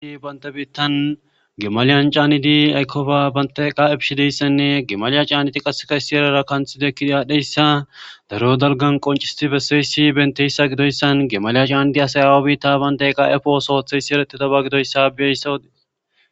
Banta biittan gemaliyan caanidi aykofa banteqa ebishideyssanne gemaliya caaniti qasekayssi erara kanthide kidi aadhdheyssa daro dalgan qonciseti besseyssi benteyssa gidoyssan gemaliya caannidi asay awabi ta bante qa7efos hooththeyssi ereti daba gidoyssabeyssawodees.